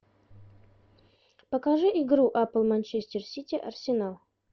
покажи игру апл манчестер сити арсенал